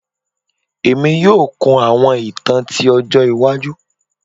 Emi yoo kun awọn itan ti ọjọ iwaju